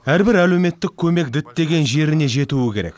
әрбір әлеуметтік көмек діттеген жеріне жетуі керек